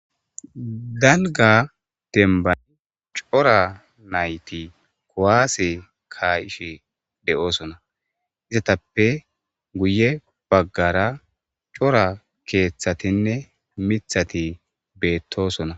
dalga dembani cora nayti kuwaase ka'ishe de7oosona izatappe guye baggara cora keeththatinne mithati beettosona